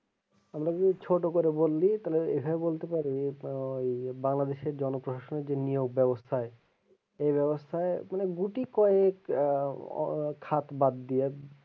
আমরা কিন্তু ছোটো করে বললি তাহলে কিন্তু এখানে বলতে পারি আহ বাংলাদেশের জন যে নিয়োগ বেবস্থায় এই বেবস্থায় মানে গুটি কয়েক আহ খাত বাদ দিয়ে,